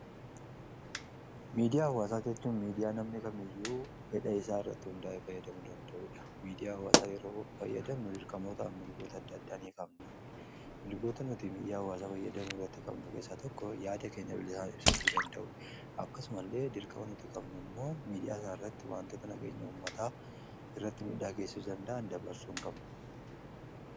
Miidiyaa hawaasaa jechuun miidiyaa namni kamiyyuu fedha isaa irratti hundaa'ee fayyadamuu danda'uudha. Miidiyaa hawaasaa yeroo fayyadamnu dirqamoota mirgoota adda addaa ni qabna. Mirgoota nuti miidiyaa hawaasaa fayyadamuu irratti qabnu keessaa tokko yaada keenya bilisaan ibsachuu danda'uu akkasuma illee dirqama nuti qabnu immoo miidiyaa isaa irratti wantoota nagenya ummataa irratti miidhaa geessisuu danda'an dabarsuu hin qabnu.